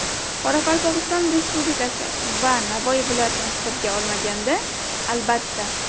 Qoraqalpog‘iston Respublikasi va Navoiy viloyatini hisobga olmaganda, albatta.